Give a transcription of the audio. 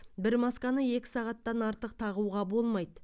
бір масканы екі сағаттан артық тағуға болмайды